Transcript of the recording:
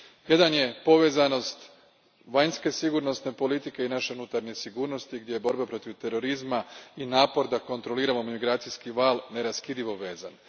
Prvo je povezanost vanjske sigurnosne politike i naše unutarnje sigurnosti, gdje su borba protiv terorizma i napor da kontroliramo migracijski val neraskidivo vezani.